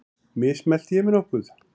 Mismælti ég mig nokkuð?